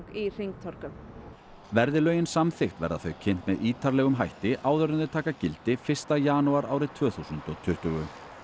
í hringtorgum verði lögin samþykkt verða þau kynnt með ítarlegum hætti áður en þau taka gildi fyrsta janúar árið tvö þúsund og tuttugu